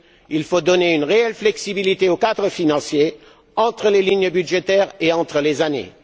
Il faut donner une réelle flexibilité au cadre financier, entre les lignes budgétaires et entre les années.